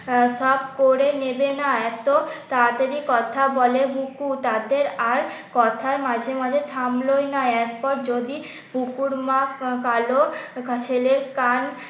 সব করে নেবে না এত তাড়াতাড়ি কথা বলে বুকু তাদের আর কথার মাঝে মাঝে থামলো ই না। এত যদি বুকুর মাছেলের কান